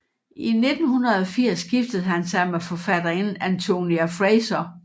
I 1980 giftede han sig med forfatterinden Antonia Fraser